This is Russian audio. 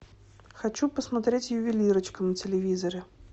хочу посмотреть ювелирочка на телевизоре